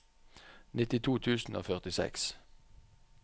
nittito tusen og førtiseks